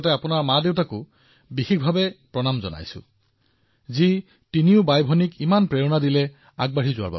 আৰু আপোনাৰ পিতৃমাতৃক বিশেষ ৰূপত প্ৰণাম কৰিছো যিয়ে তিনিও গৰাকী কন্যাক প্ৰেৰণা দিছে আৰু উৎসাহ দিছে